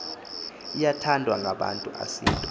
iyathandwa ngabantu asinto